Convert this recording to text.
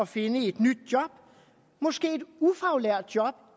finde et nyt job måske et ufaglært job